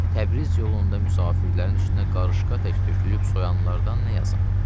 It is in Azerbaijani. Təbriz yolunda müsafirlərin üstünə qarışqa tökülüb soyanlardan nə yazım?